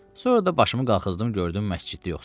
Sonra da başımı qaxızdım, gördüm məsciddə yoxsan.